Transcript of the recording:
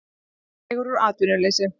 Dregur úr atvinnuleysi